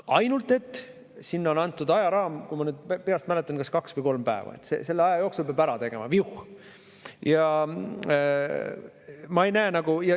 Ainult et seal on antud ajaraam, kui ma nüüd peast mäletan, siis kas kaks või kolm päeva, selle aja jooksul peab selle ära tegema, viuh!